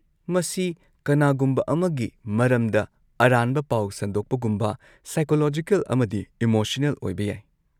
ꯃꯁꯤ ꯀꯅꯥꯒꯨꯝꯕ ꯑꯃꯒꯤ ꯃꯔꯝꯗ ꯑꯔꯥꯟꯕ ꯄꯥꯎ ꯁꯟꯗꯣꯛꯄꯒꯨꯝꯕ ꯁꯥꯏꯀꯣꯂꯣꯖꯤꯀꯦꯜ ꯑꯃꯗꯤ ꯏꯃꯣꯁꯅꯦꯜ ꯑꯣꯏꯕ ꯌꯥꯏ꯫